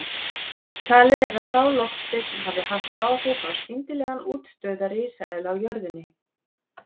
Talið er að sá loftsteinn hafi haft áhrif á skyndilegan útdauða risaeðla á jörðinni.